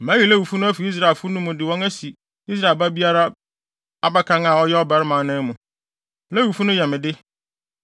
“Mayi Lewifo no afi Israelfo no mu de wɔn asi Israel babea biara abakan a ɔyɛ ɔbarima anan mu. Lewifo no yɛ me de,